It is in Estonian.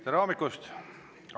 Tere hommikust!